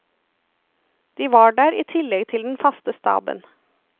De var der i tillegg til den faste staben.